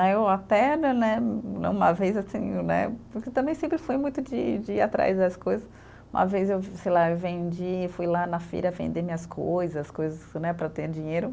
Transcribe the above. Né, eu até, né numa vez assim né, porque também sempre fui muito de de ir atrás das coisas, uma vez eu, sei lá, vendi, fui lá na feira vender minhas coisas, coisas né para eu ter dinheiro.